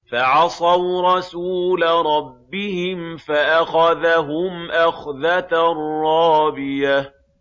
فَعَصَوْا رَسُولَ رَبِّهِمْ فَأَخَذَهُمْ أَخْذَةً رَّابِيَةً